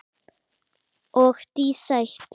Og dísætt.